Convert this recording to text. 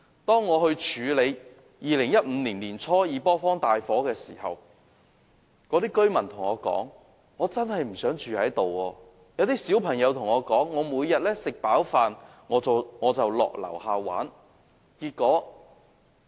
當我處理2015年年初的二坡坊大火時，居民對我說他們真的不想住在那裏，還有小朋友對我說，他們每天吃飯後便到樓下玩耍。